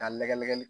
K'a lagɛ nɛgɛ